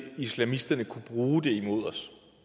islamisterne kunne bruge det imod os